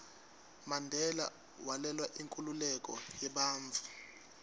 mandela walwela inkhululeko yebantfu